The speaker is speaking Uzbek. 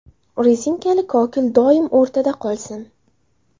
Rezinkali kokil doim o‘rtada qolsin.